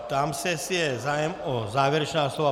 Ptám se, jestli je zájem o závěrečná slova.